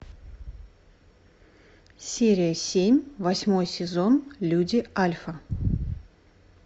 серия семь восьмой сезон люди альфа